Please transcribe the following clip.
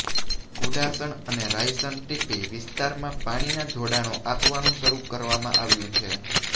કુડાસણ અને રાયસણ ટીપી વિસ્તારમાં પાણીના જોડાણો આપવાનું શરૂ કરવામાં આવ્યું છે